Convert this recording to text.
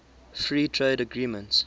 free trade agreements